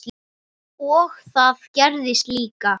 Og það gerðist líka.